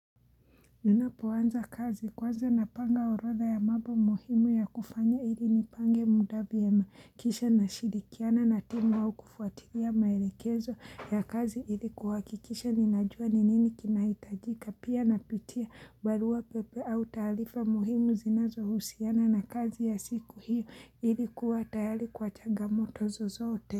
Ninapoanza kazi kwanza napanga orodha ya mambo muhimu ya kufanya ili nipange muda vyema kisha nashirikiana na timu au kufuatilia maelekezo ya kazi ili kuhakikisha ninajua ninini kinahitajika pia napitia barua pepe au taarifa muhimu zinazo husiana na kazi ya siku hiyo ili kuwa tayari kwa changamoto zozote.